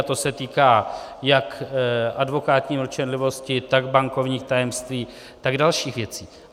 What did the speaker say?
A to se týká jak advokátní mlčenlivosti, tak bankovních tajemství, tak dalších věcí.